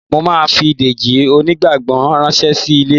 Mo máa fi Dèjì oníjàngbọ̀n ránṣẹ́ sí ilé